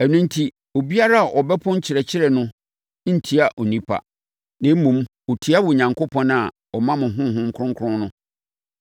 Ɛno enti, obiara a ɔbɛpo nkyerɛkyerɛ no ntia onipa, na mmom, ɔtia Onyankopɔn a ɔma mo Honhom Kronkron no.